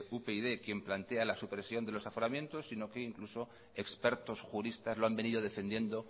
upyd quien plantea la supresión de los aforamientos sino que incluso expertos juristas lo han venido defendiendo